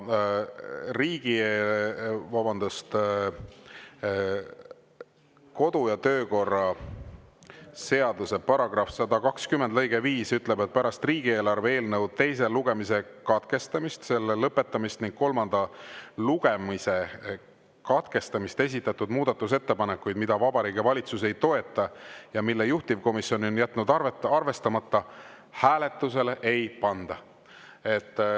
Kodu‑ ja töökorra seaduse § 120 lõige 5 ütleb, et pärast riigieelarve eelnõu teise lugemise katkestamist, selle lõpetamist ning kolmanda lugemise katkestamist esitatud muudatusettepanekuid, mida Vabariigi Valitsus ei toeta ja mille juhtivkomisjon on jätnud arvestamata, hääletusele ei panda.